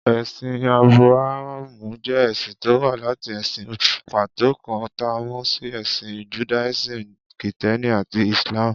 Ẹ̀sìn Ábúráhámù jẹ́ ẹ̀sìn tó wá láti ẹ̀sìn pàtó kan, ta mọ̀ sí Ẹ̀sìn Judaism, Kìtẹ́ẹ́nì àti Islam.